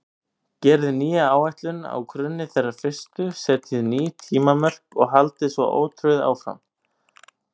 Gerið nýja áætlun á grunni þeirrar fyrstu, setjið ný tímamörk og haldið svo ótrauð áfram.